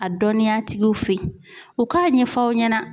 A dɔnniyatigiw fe ye u k'a ɲɛf'aw ɲɛna